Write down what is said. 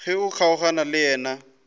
ge o kgaogana le yena